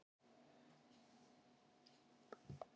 Viljið þið mjólk og sykur?